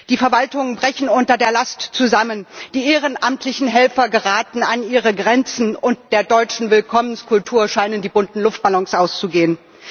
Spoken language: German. Die Verwaltungen brechen unter der Last zusammen, die ehrenamtlichen Helfer geraten an ihre Grenzen, und der deutschen Willkommenskultur scheinen die bunten Luftballons auszugehen.